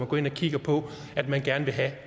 går ind og kigger på hvad man gerne vil have